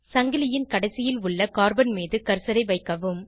சங்கிலின் கடைசியில் உள்ள கார்பன் மீது கர்சரை வைக்கவும்